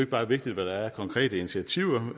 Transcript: bare vigtigt hvad der er af konkrete initiativer